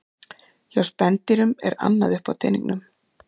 Hjá spendýrum er annað upp á teningnum.